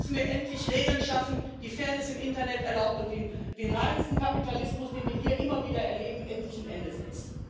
Hier müssen wir endlich Regeln schaffen, die Fairness im Internet erlauben und die dem reinsten Kapitalismus, den wir hier immer wieder erleben, endlich ein Ende setzen.